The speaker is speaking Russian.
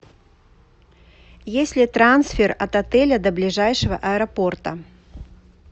есть ли трансфер от отеля до ближайшего аэропорта